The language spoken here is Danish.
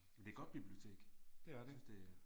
Men det er et godt bibliotek, jeg synes det